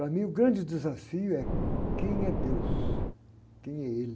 Para mim o grande desafio é quem é Deus, quem é Ele.